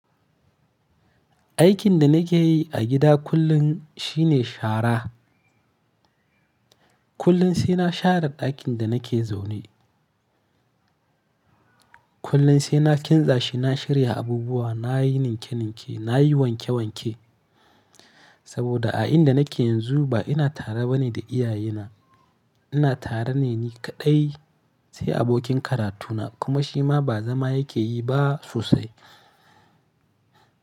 Aikin da nake yi a gida kullum shine shara. Kullum sai na share ɗakin da nake zaune. Kullum sai na kintsashi, na shirya abubuwa, na yi ninke-ninke, na yi wanke-wanke. Saboda a inda nake yanzu ba ina tare ba ne da iyaye na. Ina tare ne ni kaɗai sai abokin karatuna kuma shi ma ba zama yake yi ba sosai.